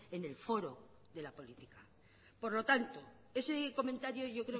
en el foro de la política por lo tanto ese comentario yo